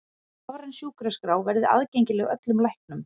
Rafræn sjúkraskrá verði aðgengileg öllum læknum